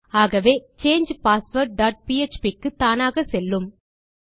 ஆகவே change password dot PHP க்கு தானாக செல்லும்